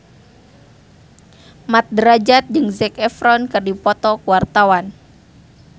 Mat Drajat jeung Zac Efron keur dipoto ku wartawan